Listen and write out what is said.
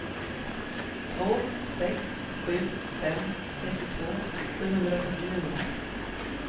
två sex sju fem trettiotvå sjuhundrafyrtionio